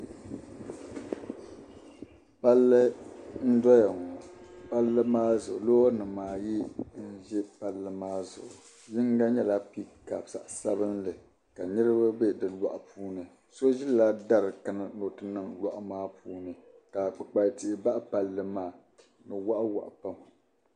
Palli n bɔŋɔ palli maa zuɣu lɔɔrinim ayi n ʒa palli maa zuɣu yinga nyɛla picap zaɣisabinli kanirib be di lɔɣu puuni. so ʒila dari kanna ni ɔti nin lɔɣu maa puuni. ka kpukpali tihi baɣi palli maa di waɣi waɣi pam.